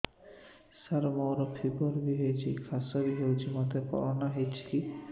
ସାର ମୋର ଫିବର ହଉଚି ଖାସ ବି ହଉଚି ମୋତେ କରୋନା ହେଇଚି କି